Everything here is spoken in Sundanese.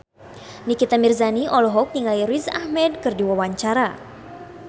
Nikita Mirzani olohok ningali Riz Ahmed keur diwawancara